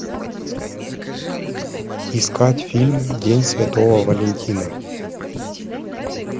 искать фильм день святого валентина